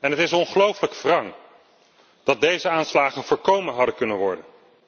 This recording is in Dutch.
Het is ongelooflijk wrang dat deze aanslagen voorkomen hadden kunnen worden.